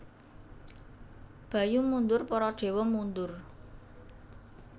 Bayu mundur Para dewa mundur